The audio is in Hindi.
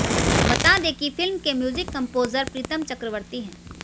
बता दें कि फिल्म के म्यूजिक कंपोजर प्रीतम चक्रवर्ती हैं